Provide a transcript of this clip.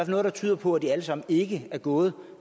noget der tyder på at det alt sammen ikke er gået